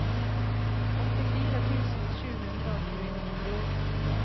åttifire tusen sju hundre og tjueni